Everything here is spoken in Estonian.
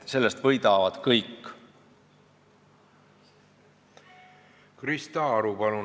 Krista Aru, palun!